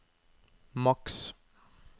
maks